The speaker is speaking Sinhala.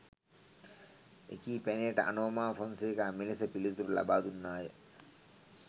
එකී පැනයට අනෝමා ෆෝනසේකා මෙලෙස පිළිතුරු ලබාදුන්නාය